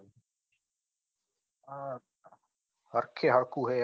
આ આખે આખું છે એમ